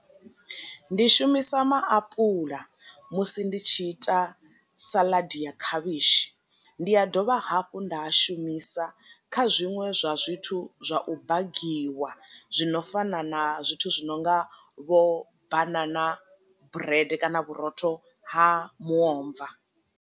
Ndi shumisa ma apula musi ndi tshi ita saladi ya khavhishi, ndi a dovha hafhu nda a shumisa kha zwiṅwe zwa zwithu zwa u bagiwa zwino fana na zwithu zwi nonga vho banana brede kana vhurotho ha muomva.